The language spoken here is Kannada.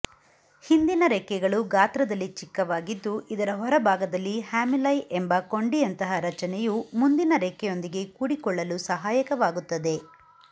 ಹಿಂದಿನ ರೆಕ್ಕೆಗಳು ಗಾತ್ರದಲ್ಲಿ ಚಿಕ್ಕವಾಗಿದ್ದು ಇದರ ಹೊರ ಭಾಗದಲ್ಲಿ ಹ್ಯಾಮುಲೈ ಎಂಬ ಕೊಂಡಿಯಂತಹ ರಚನೆಯು ಮುಂದಿನ ರೆಕ್ಕೆಯೊಂದಿಗೆ ಕೂಡಿಕೊಳ್ಳಲು ಸಹಾಯಕವಾಗುತ್ತದೆ